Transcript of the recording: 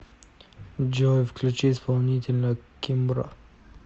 джой включи исполнителя кимбра